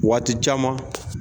Waati caman.